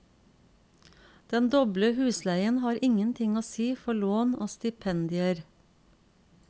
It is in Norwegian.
Den doble husleien har ingenting å si for lån og stipendier.